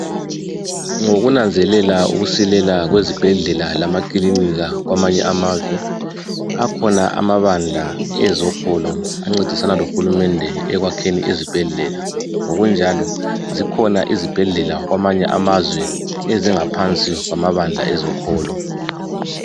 Ngokunanzelela ukusilela kwezibhedlela lamakilinika kwamanye amazwe, akhona abandla ezokholo ancedisana lohulumende ekwakheni izibhedlela kunjalo zikhona izibhedlela kwamanye amazwe ezingaphansi kwamabandla ezokholo.